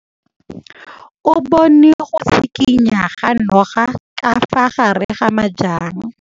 O bone go tshikinya ga noga ka fa gare ga majang.